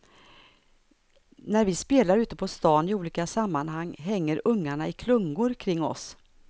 När vi spelar ute på stan i olika sammanhang hänger ungarna i klungor kring oss.